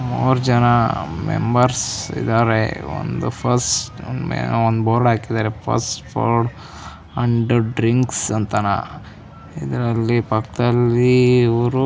ಮೂರ್ ಜನ ಮೆಂಬರ್ಸ್ ಇದ್ದಾರೆ ಒಂದು ಫಸ್ಟ್ ಅಹ್ ಒಂದ್ ಬೋರ್ಡ್ ಹಾಕಿದ್ದಾರೆ ಫಸ್ಟ್ ಫುಡ್ ಅಂಡ್ ಡ್ರಿಂಕ್ಸ್ ಅಂತಾನಾ ಇದ್ರಲ್ಲಿ ಪಕ್ಕದಲ್ಲಿ ಇವರು--